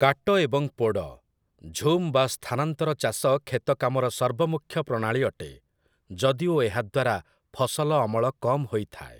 କାଟ ଏବଂ ପୋଡ଼, ଝୁମ୍ ବା ସ୍ଥାନାନ୍ତର ଚାଷ କ୍ଷେତକାମର ସର୍ବମୁଖ୍ୟ ପ୍ରଣାଳୀ ଅଟେ, ଯଦିଓ ଏହାଦ୍ଵାରା ଫସଲ ଅମଳ କମ୍ ହୋଇଥାଏ ।